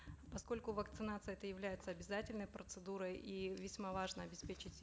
поскольку вакцинация это является обязательной процедурой и весьма важно обеспечить